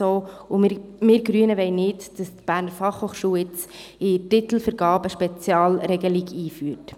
Wir Grünen wollen nicht, dass die BFH bei der Titelvergabe eine Spezialregelung einführt.